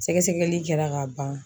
Sɛgɛsɛgɛli kɛra ka ban.